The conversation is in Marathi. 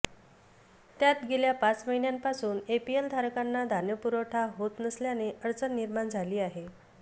त्यात गेल्या पाच महिन्यांपासून एपीएलधारकांना धान्यपुरवठा होत नसल्याने अडचण निर्माण झाली आहे